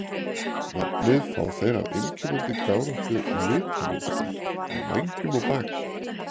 Nafnið fá þeir af einkennandi gáróttu litamynstri á vængjum og baki.